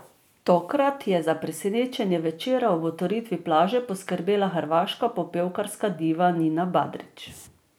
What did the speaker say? Tokrat je za presenečenje večera ob otvoritvi plaže poskrbela hrvaška popevkarska diva Nina Badrić.